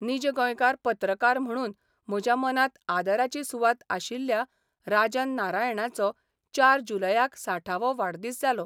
नीज गोंयकार 'पत्रकार म्हणून म्हज्या मनांत आदराची सुवात आशिल्ल्या राजन नारायणाचो चार जुलयाक साठावो वाडदीस जालो.